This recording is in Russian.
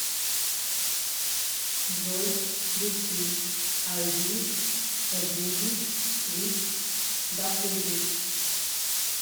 джой включи ай дид ит э буги вит да худи